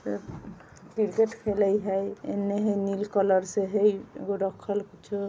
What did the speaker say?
क्रिकेट खेले हेय इने हेय नील कलर से हेय एगो रखल कुछो।